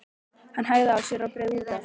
Hann hægði á sér og beygði út af.